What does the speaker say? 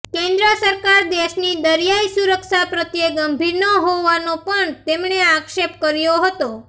કેન્દ્ર સરકાર દેશની દરિયાઈ સુરક્ષા પ્રત્યે ગંભીર ન હોવાનો પણ તેમણે આક્ષેપ કર્યો હતો